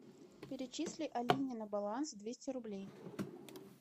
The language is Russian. перечисли алине на баланс двести рублей